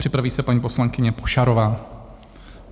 Připraví se paní poslankyně Pošarová.